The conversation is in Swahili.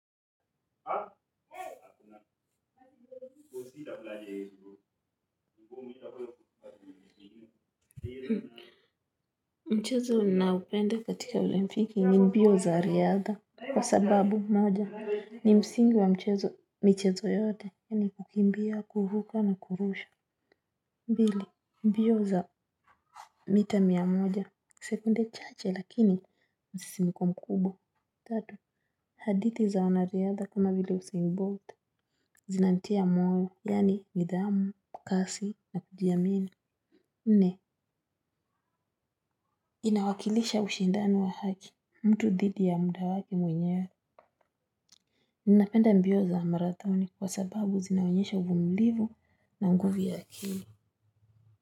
Mchezo ninaoupenda katika olimpiki ni mbio za riadha. Kwa sababu moja ni msingi wa michezo yote yani kukimbia kuruka na kurusha. Mbili mbio za mita mia moja sekunde chache lakini msisimiko mkubwa. Tatu hadithi za wanariadha kama vile Usain Bolt Zinanitia moyo yani nidhamu kasi na kujiamini. Nne inawakilisha ushindano wa haki mtu dhidi ya muda wake mwenyewe. Ninapenda mbio za marathoni kwa sababu zinaonyesha uvumilivu na nguvu ya akili.